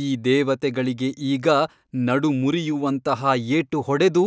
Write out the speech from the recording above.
ಈ ದೇವತೆಗಳಿಗೆ ಈಗ ನಡುಮುರಿಯುವಂತಹ ಏಟು ಹೊಡೆದು